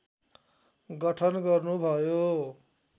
गठन गर्नुभयो